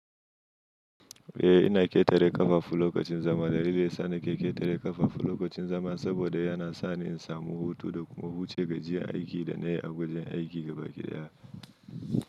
Eh, ina ƙetare ƙafafu lokacin zama. Dalilin sa ni ke ƙetare ƙafafu lokacin zama saboda yana sa ni in samu hutu da kuma huce gajiyar aikin da na yi a wajen aiki gaba ɗaya.